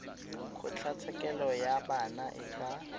kgotlatshekelo ya bana e ka